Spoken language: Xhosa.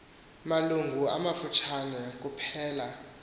malungu amafutshane kuphela